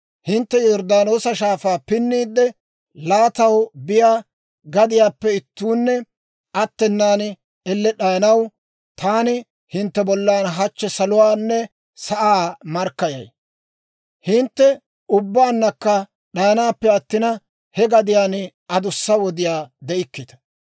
hintte Yorddaanoosa Shaafaa pinniide laattanaw biyaa gadiyaappe ittuunne attenan, elle d'ayanaw, taani hintte bollan hachchi saluwaanne sa'aa markkayay. Hintte ubbaannakka d'ayanaappe attina, he gadiyaan adussa wodiyaa de'ikkita.